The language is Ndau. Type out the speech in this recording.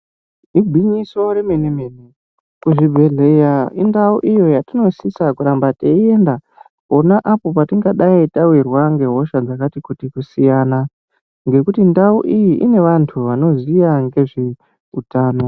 Igwinyiso remene-mene, kuzvibhedhleya indau iyo yatinosisa kuramba teienda pona apo patingadai tawirwa ngehosha dzakati kuti kusiyana, ngekuti ndau iyi, ine vantu vanoziya ngezveutano.